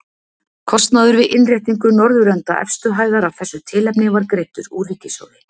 Kostnaður við innréttingu norðurenda efstu hæðar af þessu tilefni var greiddur úr ríkissjóði.